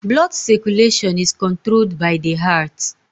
Blood circulation is controlled by the heart